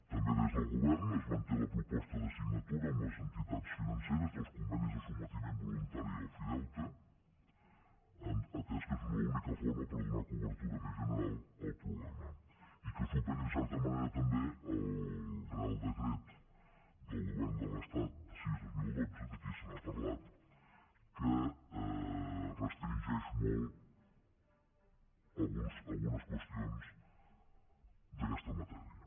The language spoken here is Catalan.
també des del govern es manté la proposta de signatura amb les entitats financeres dels convenis de sotmetiment voluntari a l’ofideute atès que és l’única forma per donar cobertura més general al problema i que es superi en certa manera també el reial decret del govern de l’estat sis dos mil dotze aquí se n’ha parlat que restringeix molt algunes qüestions d’aquesta matèria